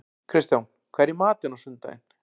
Kristján, hvað er í matinn á sunnudaginn?